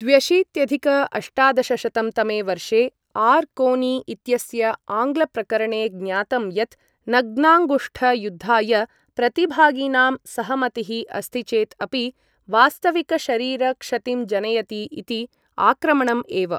द्व्यशीत्यधिक अष्टादशशतं तमे वर्षे आर् कोनी इत्यस्य आङ्ग्लप्रकरणे ज्ञातं यत् नग्नाङ्गुष्ठ युद्धाय प्रतिभागिनां सहमतिः अस्ति चेत् अपि वास्तविकशरीर क्षतिं जनयति इति आक्रमणम् एव।